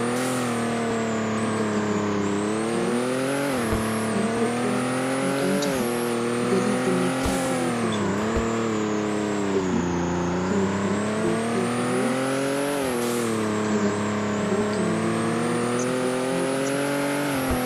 Lexetta keettaa karen keehippe cora luxanchchati geliiddinne. kiyiiddi beettoosona. Eti kiyiiddi beettiyo sohuwan eqqida bootta maayuwa maayida asati ayba asatee?